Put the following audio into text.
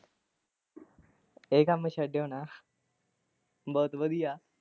ਇਹ ਕੰਮ ਛੱਡਿਓ ਨਾ ਬਹੁਤ ਵਧੀਆ।